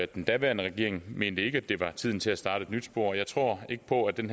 den daværende regering mente ikke at det var tiden til at starte et nyt spor og jeg tror ikke på at den